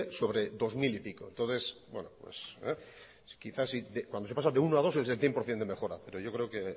sobre dos mil y pico cuando se pasa de uno a dos es el cien por ciento de mejora